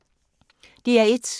DR1